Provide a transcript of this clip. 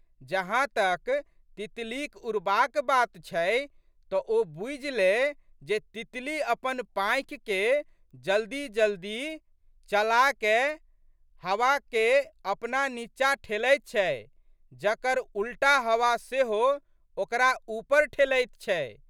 जहाँतक तितलीक उड़बाक बात छै तऽ ओ बूझि ले जे तितली अपन पाँखिके जल्दीजल्दी चलाकए हवाके अपना नींचा ठेलैत छै जकर उलटा हवा सेहो ओकरा ऊपर ठेलैत छै।